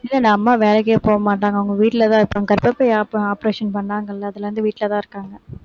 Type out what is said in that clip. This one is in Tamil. இல்ல இல்ல அம்மா வேலைக்கே போக மாட்டாங்க அவங்க வீட்டுலதான் இருப்பாங்க கர்ப்பப்பை oper~ operation பண்ணாங்கல்ல அதிலிருந்து வீட்டுலதான் இருக்காங்க